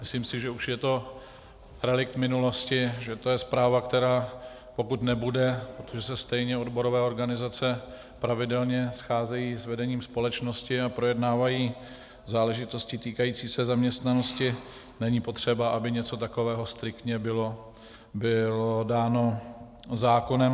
Myslím si, že už je to relikt minulosti, že to je zpráva, která pokud nebude, protože se stejně odborové organizace pravidelně scházejí s vedením společnosti a projednávají záležitosti týkající se zaměstnanosti, není potřeba, aby něco takového striktně bylo dáno zákonem.